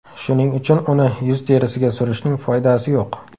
Shuning uchun uni yuz terisiga surishning foydasi yo‘q.